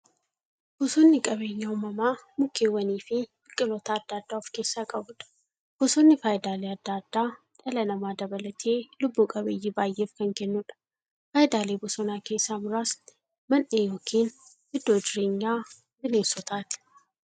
Bosonni qabeenya uumamaa mukkeewwaniifi biqiltoota adda addaa of keessaa qabudha. Bosonni faayidaalee adda addaa dhala namaa dabalatee lubbuu qabeeyyii baay'eef kan kennuudha. Faayidaalee bosonaa keessaa muraasni; Mandhee yookin iddoo jireenya bineensotaati.